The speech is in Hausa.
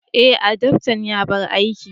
Eh, adaftan ya bar aiki.